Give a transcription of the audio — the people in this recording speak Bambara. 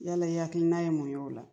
Yala i hakilina ye mun y'ola